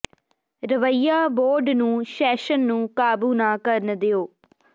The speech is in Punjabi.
ਰਵੱਈਆ ਬੋਰਡ ਨੂੰ ਸੈਸ਼ਨ ਨੂੰ ਕਾਬੂ ਨਾ ਕਰਨ ਦਿਓ